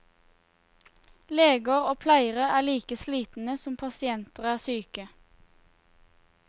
Leger og pleiere er like slitne som pasientene er syke.